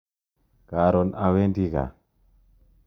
Karon awendi kaa.